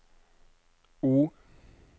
O